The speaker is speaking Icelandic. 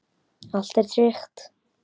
Allt er tryggt.